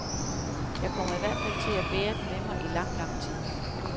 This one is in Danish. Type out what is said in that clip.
Jeg kommer i hvert fald til at bære den med mig i lang, lang tid.